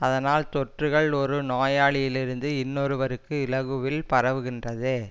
அதனால் தொற்றுக்கள் ஒரு நோயாளியிலிருந்து இன்னொருவருக்கு இலகுவில் பரவுகின்றது